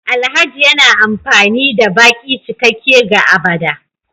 Alhaji yana amfani da baki cikakke ga agbada